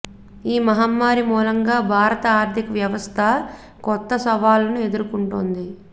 ఈ మహమ్మారి మూలంగా భారత ఆర్థిక వ్యవ స్థ కొత్త సవాళ్లను ఎదుర్కొంటోంది